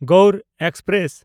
Gour express